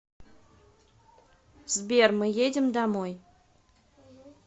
сбер мы едем домой